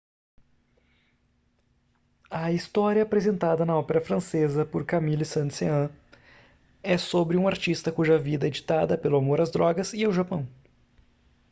a história apresentada na ópera francesa por camille saint-saëns é sobre um artista cuja vida é ditada pelo amor às drogas e ao japão.